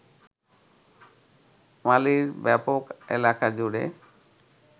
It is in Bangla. মালির ব্যাপক এলাকা জুড়ে